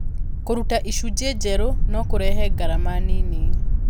Kũruta icunjĩ njerũ no kũrehe ngarama nini.